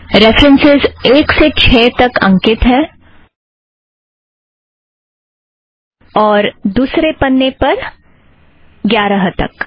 references एक से छः तक अंकित है और दुसरे पन्ने पर ग्यारह तक